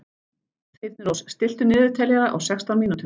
Þyrnirós, stilltu niðurteljara á sextán mínútur.